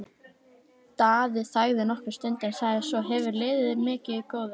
Daði þagði nokkra stund en sagði svo: Hefurðu liðið mikið, góði?